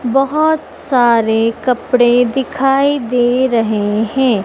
बहोत सारे कपड़े दिखाई दे रहे हैं।